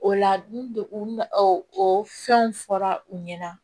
O la n o fɛnw fɔra u ɲɛna